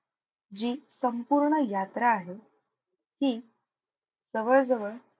जी संपूर्ण यात्रा आहे ती जवळजवळ,